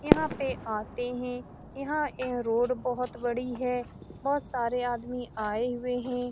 यहां पे आते हैं यहां यह रोड बड़ी है बहुत सारे आदमी आए हुए हैं।